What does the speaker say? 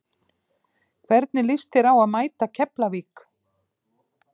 Hvernig lýst þér á að mæta Keflavík?